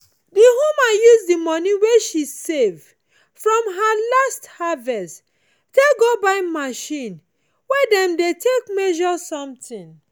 the woman use the money wey she save from her last harvest take go buy machine wey dem dey take measure something.